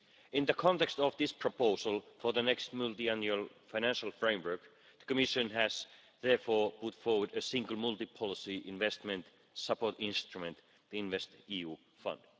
In the context of this proposal, for the next Multiannual Financial Framework, the Commission has therefore put forward a single multi policy investment support instrument the InvestEU fund.